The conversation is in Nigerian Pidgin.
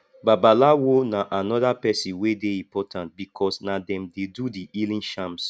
babalawo na anoda person wey dey important because na dem dey do the healing charms